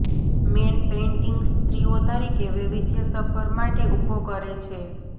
main painting સ્ત્રીઓ તરીકે વૈવિધ્યસભર માટે ઊભો કરે છે